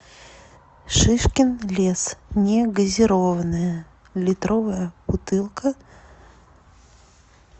шишкин лес негазированная литровая бутылка